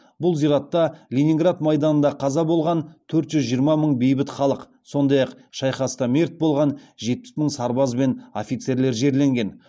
бұл зиратта ленинград майданында қаза болған төрт жүз жиырма мың бейбіт халық сондай ақ шайқаста мерт болған жетпіс мың сарбаз бен офицерлер жерленген